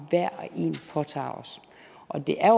påtager os og det er